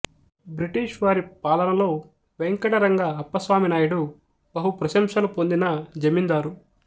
British వారి పాలనలో వేంకటరంగ అప్పస్వామి నాయుడు బహుప్రశంసలు పొందిన జమీందారు